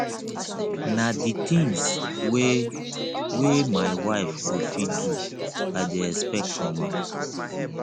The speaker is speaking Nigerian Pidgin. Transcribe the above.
na di tins wey wey my wife go fit do i dey expect from am